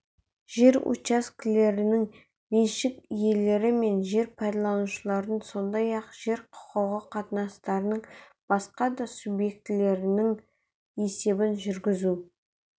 жер учаскелерінің меншік иелері мен жер пайдаланушылардың сондай-ақ жер құқығы қатынастарының басқа да субъектілерінің есебін жүргізу